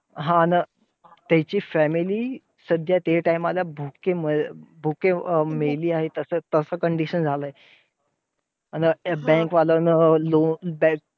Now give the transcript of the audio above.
हा ना! त्याची family सध्या त्या time ला भुके मे~ अं भुके मेली आहे. तसं तसं condition झालं आहे. आणि bank वाल्यांन loan